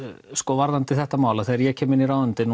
varðandi þetta mál þegar ég kem inn í ráðuneytið